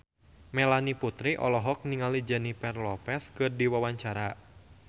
Melanie Putri olohok ningali Jennifer Lopez keur diwawancara